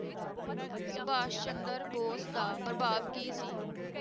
ਸੁਭਾਸ਼ ਚੰਦਰ ਬੋਸ ਦਾ ਪ੍ਰਭਾਵ ਕੀ ਸੀ